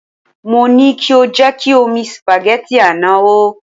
Mo ní kí o jẹ́ kí omi sìpàgẹ́tì àná hó.